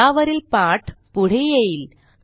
यावरील पाठ पुढे येईल